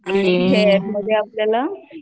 hair मध्ये आपल्याला